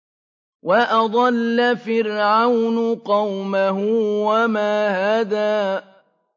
وَأَضَلَّ فِرْعَوْنُ قَوْمَهُ وَمَا هَدَىٰ